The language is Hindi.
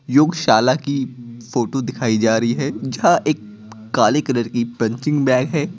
योगशाला की फोटो दिखाई जा रही है जहां एक काले कलर की पंचिंग बैग है।